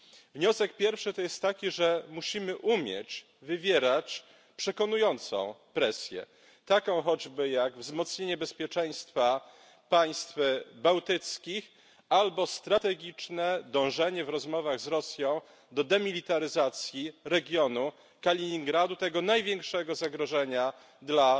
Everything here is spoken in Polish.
Wniosek pierwszy jest taki, że musimy umieć wywierać przekonującą presję, taką choćby jak wzmocnienie bezpieczeństwa państw bałtyckich albo strategiczne dążenie w rozmowach z Rosją do demilitaryzacji regionu Kaliningradu tego największego zagrożenia dla